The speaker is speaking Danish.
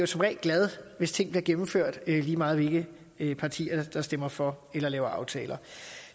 som regel glad hvis tingene bliver gennemført lige meget hvilke partier der stemmer for eller laver aftaler